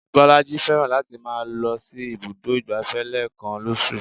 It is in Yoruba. Bolaji fẹ́ràn láti máa lọ sí ibùdó ìgbáfẹ́ lẹ́ẹ̀kan lóṣù